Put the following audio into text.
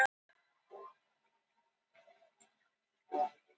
Það mættu margir á fundinn, á annað hundrað manns, eru Grafarvogsbúar mjög áhyggjufullir?